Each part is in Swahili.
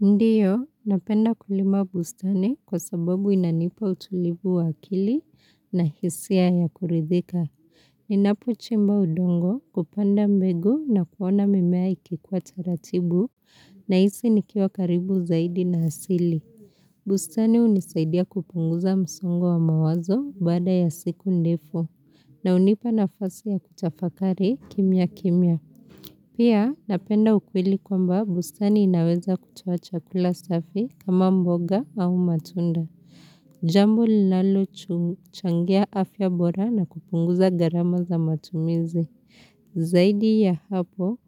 Ndiyo, napenda kulima bustani kwa sababu inanipa utulibu wa akili na hisia ya kurithika. Ninapo chimba udongo kupanda mbegu na kuona mimea ikikuwa taratibu na hisi nikia karibu zaidi na hasili. Bustani hunisaidia kupunguza msongo wa mawazo bada ya siku ndefu na unipa nafasi ya kutafakari kimya kimya. Pia, napenda ukwile kwamba bustani inaweza kutoa chakula safi kama mboga au matunda. Jambo linalo changia afya bora na kupunguza garama za matumizi. Zaidi ya hapo,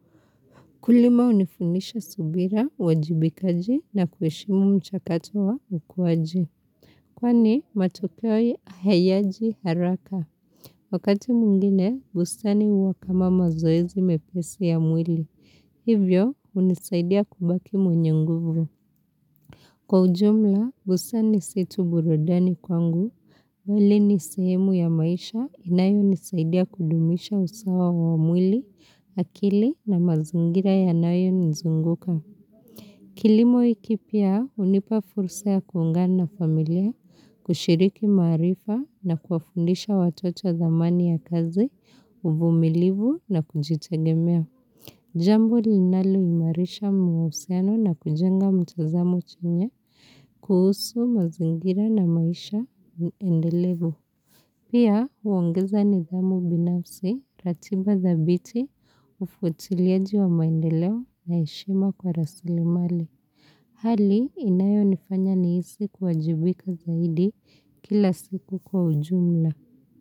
ukulima hunifunisha subira, wajibikaji na kueshimu mchakato wa ukuwaji. Kwani, matokeo hayaji haraka. Wakati mwingine, bustani huwakama mazoezi mepesi ya mwili. Hivyo, hunisaidia kubaki mwenye nguvu. Kwa ujumla, bustani situ burudani kwangu. Wali ni sehemu ya maisha inayo nisaidia kudumisha usawa wa mwili, akili na mazungira yanayo nizunguka. Kilimo ikipia, unipafurusa ya kuungana na familia, kushiriki marifa na kuafundisha watoto zamani ya kazi, uvumilibu na kujitagemea. Jambo linalo imarisha mahusiano na kujenga mtazamo chamya kuhusu mazingira na maisha endelevu. Pia, huongeza nithamu binafsi ratiba thabiti ufuatiliaji wa maendeleo na heshima kwa rasilimali. Hali, inayo nifanya nihisi kuajibika zaidi kila siku kwa ujumla.